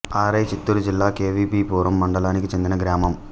అరై చిత్తూరు జిల్లా K V B Puram మండలానికి చెందిన గ్రామం